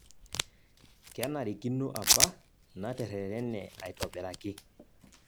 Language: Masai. kenarikino apa natererene aitobiraki